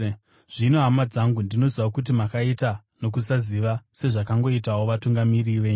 “Zvino, hama dzangu, ndinoziva kuti makaita nokusaziva sezvakangoitawo vatungamiri venyu.